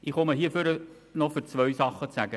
Ich komme nach vorne, um noch zwei Dinge zu sagen.